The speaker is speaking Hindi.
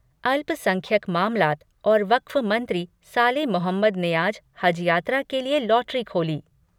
अल्पसंख्यक मामलात और वक्फ मंत्री साले मोहम्मद ने आज हज यात्रा के लिए लॉटरी खोली